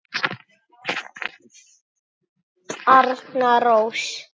Arna Rós.